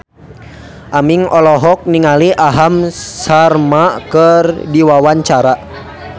Aming olohok ningali Aham Sharma keur diwawancara